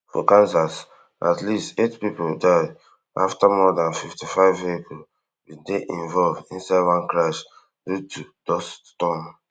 for kansas at least eight pipo die after more dan fifty-five vehicles bin dey involved inside one crash due to dust storm